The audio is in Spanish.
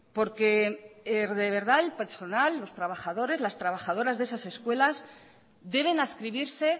porque de verdad el personal los trabajadores las trabajadoras de esas escuelas deben adscribirse